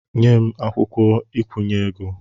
Nye m akwụkwọ nkwụnye ego!